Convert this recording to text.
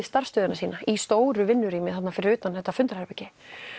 starfsstöðina sína í stóru vinnurými þarna fyrir utan þetta fundarherbergi